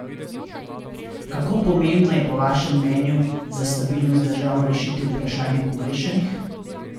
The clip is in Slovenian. Kako pomembno je po vašem mnenju za stabilnost držav rešiti vprašanje pogrešanih?